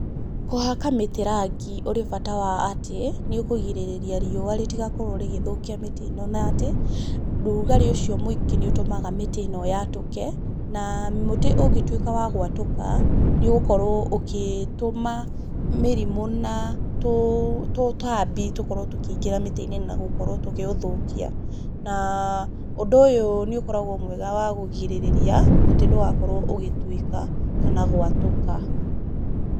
Kũhaka mĩtĩ rangi ũrĩ bata wa atĩ, nĩ ũkũgĩrĩrĩria riũa rĩtigakorwo rĩgĩthũkia mĩtĩ ĩno na atĩ, rugarĩ ũcio mwĩngĩ nĩ ũtũmaga mĩtĩ ĩno yatũke, na mũtĩ ũngĩtuĩka wa gwatũka, nĩ ũgũkorwo ũkĩtũma mĩrimũ na tũtambi tũkorwo tũkĩingĩra mĩtĩ-inĩ na gũkoreo tũkĩũthũkia. Na ũndũ ũyũ nĩ ũkoragwo wega wa kũgĩrĩrĩria mũtĩ ndũgakorwo ũgĩtuĩka kana gwatũka.